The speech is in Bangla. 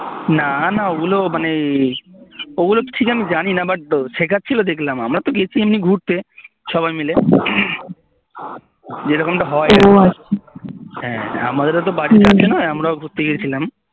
না না ওগুলো মানে ওগুলো ঠিক আমি জানিনা but শেখাচ্ছিল দেখলাম আমরা তো গেছি এমনি ঘুরতে সবাই মিলে যেরকম টা হয় আরকি হ্যাঁ আমাদেরও তো বাড়ি কাছে না আমরাও ঘুরতে গেছিলাম